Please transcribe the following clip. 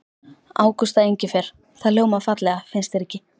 Ágústa Engifer. það hljómar fallega, finnst þér ekki?